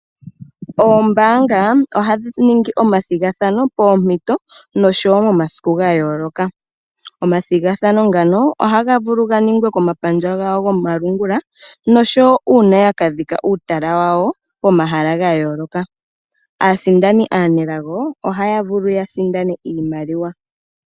Ombaanga ohadhi ningi omathigathano poompito nomomasiku ga yooloka. Omathigathano ngano ohaga vulu ga ningwe komapandja gawo gomalungula uuna yaka dhika uutala wawo komahala ga yooloka. Aasindani aanelago ohaya vulu ya sindane iimaliwa.